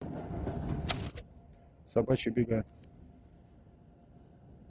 собачьи бега